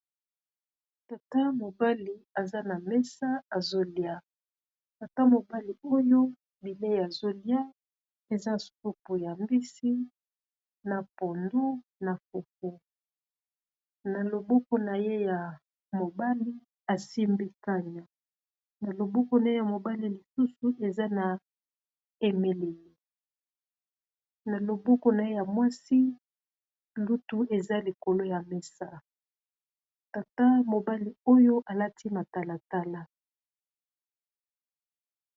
Tata mobali aza na mesa azolia, tata mobali oyo bilei azolia eza supu ya mbisi na pondu na fufu. Na loboko na ye ya mobali asimbi kania na loboko na ye ya mobali lisusu eza na emeleli na loboko na ye ya mwasi lutu eza likolo ya mesa tata mobali oyo alati matalatala.